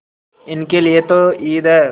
इनके लिए तो ईद है